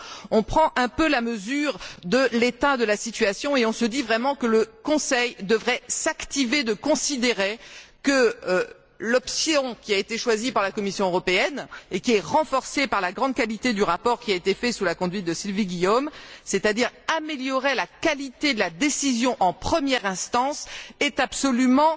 on prend un peu la mesure de l'état de la situation et on se dit vraiment que le Conseil devrait s'activer à considérer que l'option qui a été choisie par la Commission européenne et qui est renforcée par la grande qualité du rapport qui a été fait sous la conduite de Sylvie Guillaume c'est à dire améliorer la qualité de la décision en première instance, est absolument